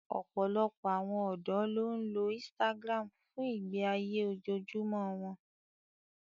Ọ̀pọ̀lọpọ̀ àwọn ọ̀dọ́ ló ń lo Instagram fún ìgbé ayé ojoojúmọ́ wọn